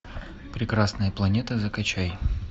прекрасная планета закачай